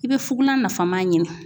I bɛ fugulan nafama ɲini